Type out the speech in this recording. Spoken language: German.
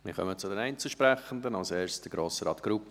Wir kommen zu den Einzelsprechenden, als erster Grossrat Grupp.